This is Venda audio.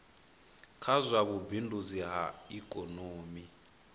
kha zwa vhubindudzi ha ikomoni